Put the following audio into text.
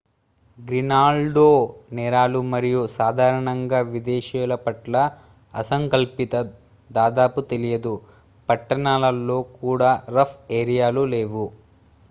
గ్రీన్లాండ్లో నేరాలు మరియు సాధారణంగా విదేశీయుల పట్ల అసంకల్పిత దాదాపు తెలియదు పట్టణాల్లో కూడా రఫ్ ఏరియాలు' లేవు